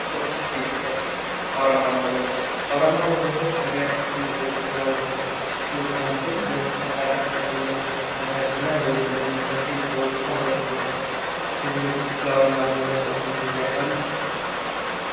ማሀበረሰብ እና ቤተሰብ የአውራምባ ማህበረሰብ የአውራምባ ማህበረሰብ በሀገራችን ክፍሎች ከሚታወቁ ማህበረሰቦች ውስጥ አንዱ ሲሆን በጠንካራ ሠራተኝነታቸውና በህዝብ ወዳጅነታቸው የሚታወቁ ማህበረሰቦች ናቸው። ከዚህ በፊት ስለ አዉራምባ ማህበረሰብ ሰምተው ያውቃሉ?